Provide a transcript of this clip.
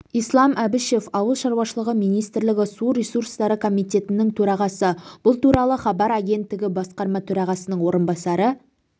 ислам әбішев ауыл шаруашылығы министрлігі су ресурстары комитетінің төрағасы бұл туралы хабар агенттігі басқарма төрағасының орынбасары